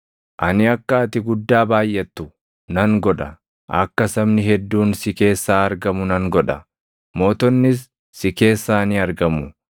Ani akka ati guddaa baayʼattu nan godha; akka sabni hedduun si keessaa argamu nan godha; mootonnis si keessaa ni argamu.